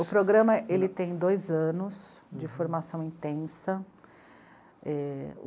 O programa ele tem dois anos de formação intensa. É...